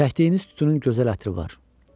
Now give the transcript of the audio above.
Çəkdiyiniz tütünün gözəl ətri var.